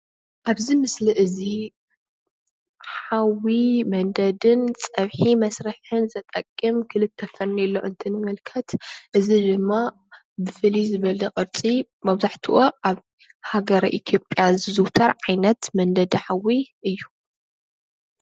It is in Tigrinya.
ኣብዚ ምስሊ እዚ ሓዊ መንደድን ፀብሒ መስርሕን ዝጠቅም ክልተ ፈርኔሎ እንትንምልከት እዚ ድማ ብፍልይ ዝበለ ቅርፂ መብዛሕትኡ ኣብ ሃገረ ኢትዮጵያ ዝዝዉተር ዓይነት መንደዲ ሓዊ እዩ ።